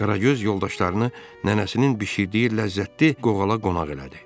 Qaragöz yoldaşlarını nənəsinin bişirdiyi ləzzətli qoğala qonaq elədi.